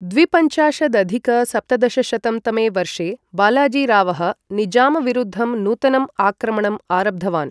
द्विपञ्चाशदधिक सप्तदशशतं तमे वर्षे, बालाजीरावः निजामविरुद्धं नूतनं आक्रमणम् आरब्धवान्।